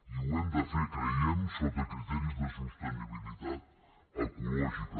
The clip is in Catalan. i ho hem de fer creiem sota criteris de sostenibilitat ecològica